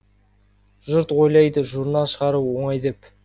жұрт ойлайды журнал шығару оңай деп